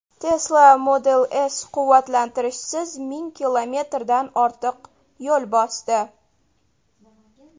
Tesla Model S quvvatlantirishsiz ming kilometrdan ortiq yo‘l bosdi.